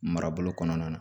Marabolo kɔnɔna na